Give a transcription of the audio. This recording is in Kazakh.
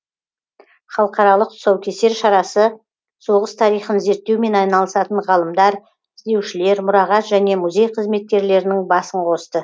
халықаралық тұсаукесер шарасы соғыс тарихын зерттеумен айналысатын ғалымдар іздеушілер мұрағат және музей қызметкерлерінің басын қосты